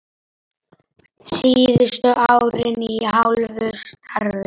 taktu mig upp til skýja